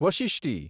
વશિષ્ટિ